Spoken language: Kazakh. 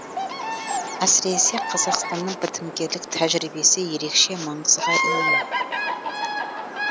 әсіресе қазақстанның бітімгерлік тәжірибесі ерекше маңызға ие